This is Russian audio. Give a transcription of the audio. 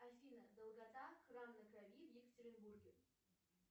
афина долгота храм на крови в екатеринбурге